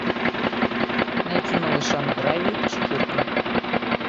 найти малыша на драйве четырка